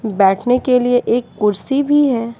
बैठने के लिए एक कुर्सी भी है।